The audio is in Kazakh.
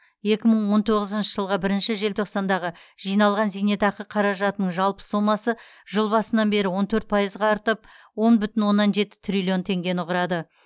екі мың он тоғызыншы жылғы бірінші желтоқсандағы жиналған зейнетақы қаражатының жалпы сомасы жыл басынан бері он төрт пайызға артып он бүтін оннан жеті триллион теңгені құрады